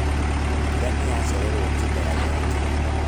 Mbura nĩyacererwo kĩmera gĩkĩ